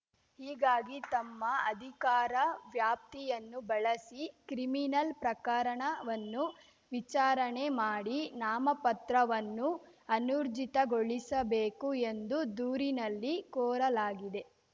ಹೀಗಾಗಿ ತಮ್ಮ ಅಧಿಕಾರ ವ್ಯಾಪ್ತಿಯನ್ನು ಬಳಸಿ ಕ್ರಿಮಿನಲ್‌ ಪ್ರಕರಣವನ್ನು ವಿಚಾರಣೆ ಮಾಡಿ ನಾಮಪತ್ರವನ್ನು ಅನೂರ್ಜಿತಗೊಳಿಸಬೇಕು ಎಂದು ದೂರಿನಲ್ಲಿ ಕೋರಲಾಗಿದೆ